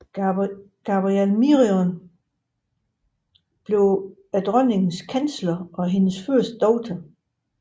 Gabriel Miron blev dronningens kansler og hendes første læge